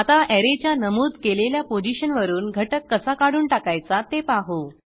आता ऍरेच्या नमूद केलेल्या पोझिशनवरून घटक कसा काढून टाकायचा ते पाहू